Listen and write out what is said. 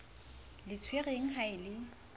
le tshwerweng ha e le